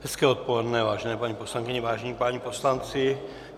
Hezké odpoledne, vážené paní poslankyně, vážení páni poslanci.